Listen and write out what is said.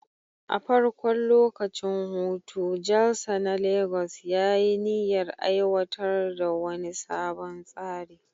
A farkon lokacin hutu, Jalsa na Legas ya yi niyyar aiwatar da wani sabon tsari